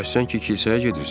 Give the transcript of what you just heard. Bəs sən ki kilsəyə gedirsən?